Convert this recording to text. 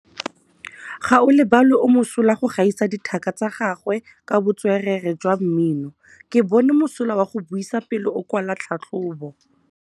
Gaolebalwe o mosola go gaisa dithaka tsa gagwe ka botswerere jwa mmino. Ke bone mosola wa go buisa pele o kwala tlhatlhobô.